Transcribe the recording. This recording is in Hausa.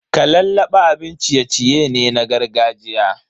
Kalallaba abin ciye-ciye ne na gargajiya.